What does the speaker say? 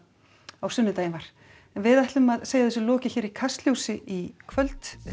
á sunnudaginn var en við ætlum að segja þessu lokið hér í Kastljósi í kvöld